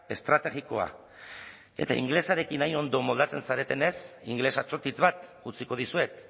estrategikoa eta ingelesarekin hain ondo moldatzen zaretenez ingeles atsotitz bat utziko dizuet